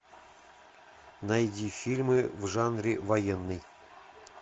найди фильм в жанре военный